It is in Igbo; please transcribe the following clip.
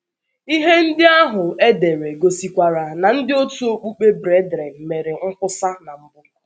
Ihe ndị ahụ e dere gosikwara na ndị òtù okpukpe Brethren mere nkwusa na mbụ.